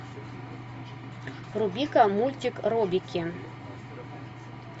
вруби ка мультик робики